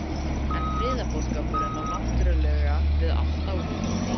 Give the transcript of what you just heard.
En friðarboðskapurinn á náttúrulega við allt árið um kring?